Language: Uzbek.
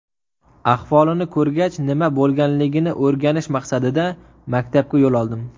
Ahvolini ko‘rgach, nima bo‘lganligini o‘rganish maqsadida maktabga yo‘l oldim.